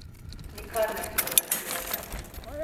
Nikar ne eksperimentirajte.